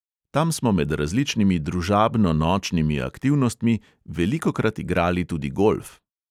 Tam smo med različnimi družabno-nočnimi aktivnostmi velikokrat igrali tudi golf.